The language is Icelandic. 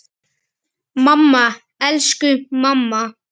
Mamma, elsku mamma.